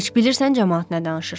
Heç bilirsən camaat nə danışır?